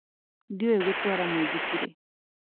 Ndiũĩ gutuara muithikiri